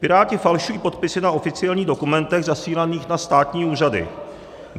Piráti falšují podpisy na oficiálních dokumentech zasílaných na státní úřady.